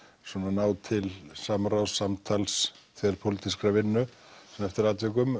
ná til samráðs samtals þverpólitískrar vinnu eftir atvikum